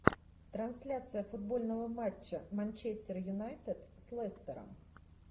трансляция футбольного матча манчестер юнайтед с лестером